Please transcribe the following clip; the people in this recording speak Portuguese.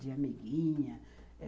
De amiguinha.